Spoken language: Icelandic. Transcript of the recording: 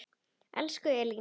Elsku Elín.